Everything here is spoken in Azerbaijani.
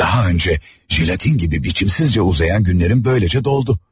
Daha öncə jelatin kimi biçimsizcə uzayan günlərim böyləcə doldu.